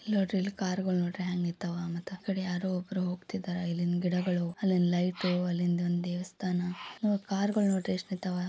ಇಲ್ ನೋಡ್ರಿ ಇಲ್ಲಿ ಕಾರ್ಗಳು ನೋಡ್ರಿ ಹೆಂಗ್ ನಿಂತವ. ಮತ್ತ ಆ ಕಡೆ ಯಾರೋ ಒಬ್ರು ಹೋಗತ್ತಿದಾರ. ಇಲ್ಲಿನ ಗಿಡಗಳು ಅಲ್ಲಿನ್ ಲೈಟು ಅಲ್ಲಿಂದ್ ಒಂದು ದೇವಸ್ಥಾನ ಇನೊ ಕಾರ್ಗಳು ನೋಡ್ರಿ ಎಷ್ಟ್ ನಿಂತವ.